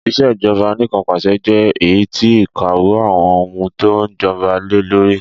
Ìṣèjọba Anìkanpàṣẹ jẹ èyítí ìkáwó àwon oun to n joba lelórí